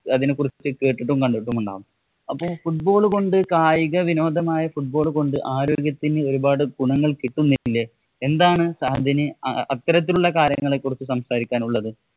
അതിനെ കുറിച്ച് കേട്ടിട്ടും, കണ്ടിട്ടുമുണ്ടാകും. അപ്പൊ football കൊണ്ട് കായിക വിനോദമായ football കൊണ്ട് ആരോഗ്യത്തിനു ഒരുപാട് ഗുണങ്ങള്‍ കിട്ടുന്നില്ലേ? എന്താണ് സഹദിനു അത്തരത്തിലുള്ള കാര്യങ്ങളെ കുറിച്ച് സംസാരിക്കാന്‍ ഉള്ളത്?